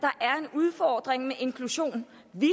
udfordring med inklusion vi